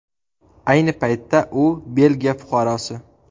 Ayni paytda u Belgiya fuqarosi.